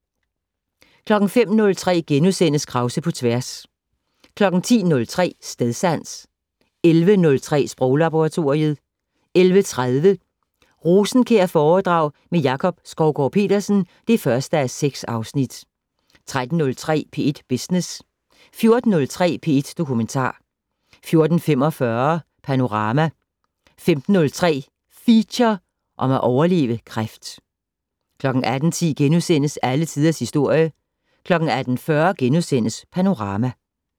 05:03: Krause på tværs * 10:03: Stedsans 11:03: Sproglaboratoriet 11:30: Rosenkjærforedrag med Jakob Skovgaard-Petersen (1:6) 13:03: P1 Business 14:03: P1 Dokumentar 14:45: Panorama 15:03: Feature: Om at overleve kræft 18:10: Alle Tiders Historie * 18:40: Panorama *